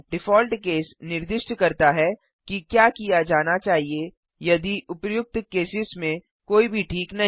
default case निर्दिष्ट करता है कि क्या किया जाना चाहिए यदि उपर्युक्त केसेस में कोई भी ठीक नहीं